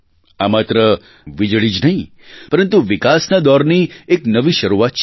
આ માત્ર વીજળી જ નહીં પરંતુ વિકાસના દોરની એક નવી શરૂઆત છે